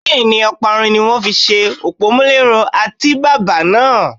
Bẹ́ẹ̀ni, Ọparun ni wón fi ṣe òpómúléró àtíbàbà náà.